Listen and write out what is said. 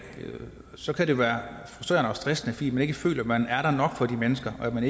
så kan det være frustrerende og stressende fordi man ikke føler at man er der nok for de mennesker og at man